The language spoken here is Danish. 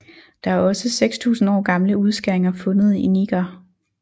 Der er også 6000 år gamle udskæringer fundet i Niger